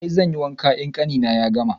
I, zanyi wanka in ƙanina ya gama.